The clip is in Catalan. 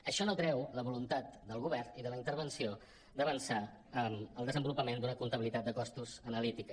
això no treu la voluntat del govern i de la intervenció d’avançar en el desenvolupament d’una comptabilitat de costos analítica